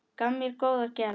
Gaf mér góðar gjafir.